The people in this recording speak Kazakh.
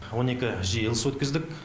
он екі жиылыс өткіздік